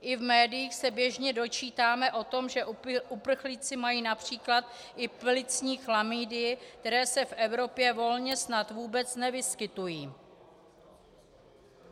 I v médiích se běžně dočítáme o tom, že uprchlíci mají například i plicní chlamydie, které se v Evropě volně snad vůbec nevyskytují.